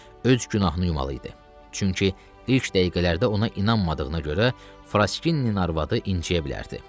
Öz günahını yumalı idi, çünki ilk dəqiqələrdə ona inanmadığına görə Fraskinnin arvadı incəyə bilərdi.